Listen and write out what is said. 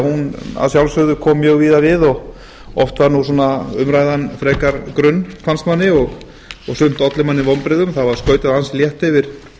hún að sjálfsögðu kom mjög víða við og oft var umræðan frekar grunn fannst manni og sumt olli manni vonbrigðum það var skautað ansi létt yfir